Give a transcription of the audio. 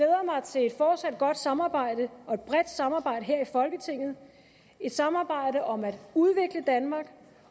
til et fortsat godt samarbejde og et bredt samarbejde her i folketinget et samarbejde om at udvikle danmark